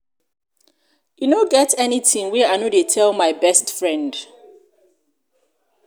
e no get anything wey i no dey tell my best friend